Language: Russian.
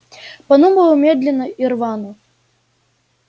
подумал медленно и рвано